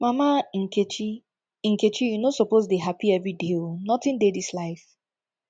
mama nkechi nkechi you no suppose dey dey hapi everyday o nothing dey dis life